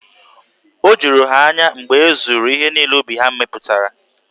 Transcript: O juru ha anya mgbe e zuru ihe niile ubi ha mepụtara.